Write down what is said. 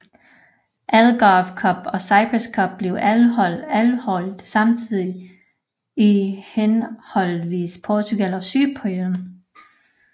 Algarve Cup og Cyprus Cup blev afholdt samtidig i henholdsvis Portugal og Cypern